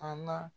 A na